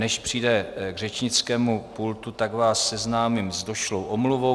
Než přijde k řečnickému pultu, tak vás seznámím s došlou omluvou.